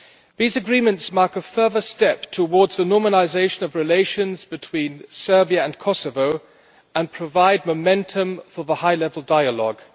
These agreements mark a further step towards the normalisation of relations between Serbia and Kosovo and provide momentum for the high level dialogue.